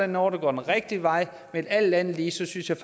noget der går den rigtige vej men alt andet lige synes jeg